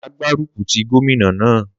Má gbaruku ti gómìnà na